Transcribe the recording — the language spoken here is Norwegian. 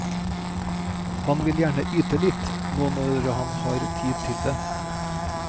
Han vil gjerne yte litt nå når han har tid til det.